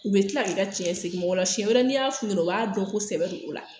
U be kila k'i ka cɛn sig'i ma o la sɛn wɛrɛ n'i y'a f'u ɲɛnɛ u b'a dɔn ko sɛbɛ don o la